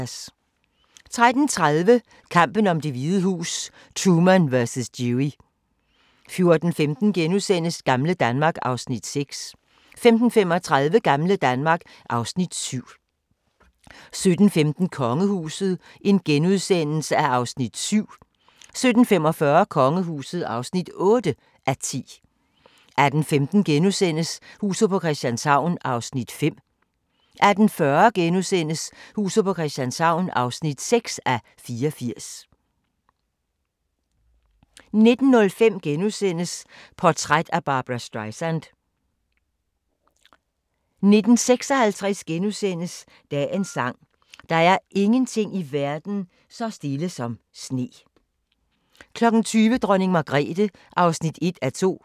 13:30: Kampen om Det Hvide Hus: Truman vs. Dewey 14:15: Gamle Danmark (Afs. 6)* 15:35: Gamle Danmark (Afs. 7) 17:15: Kongehuset (7:10)* 17:45: Kongehuset (8:10) 18:15: Huset på Christianshavn (5:84)* 18:40: Huset på Christianshavn (6:84)* 19:05: Portræt af Barbra Streisand * 19:56: Dagens sang: Der er ingenting i verden så stille som sne * 20:00: Dronning Margrethe (1:2)